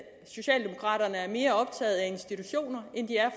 socialdemokraterne er mere optaget af institutioner